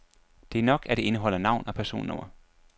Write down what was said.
Det er nok, at det indeholder navn og personnummer.